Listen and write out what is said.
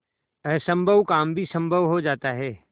असम्भव काम भी संभव हो जाता है